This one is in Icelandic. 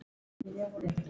Guð sér um sína.